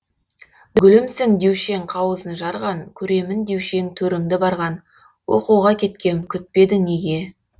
гүлімсің деуші ең қауызын жарған көремін деуші ең төріңді барған оқуға кеткем күтпедің неге